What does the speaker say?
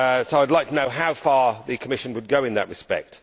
I would like to know how far the Commission would go in that respect.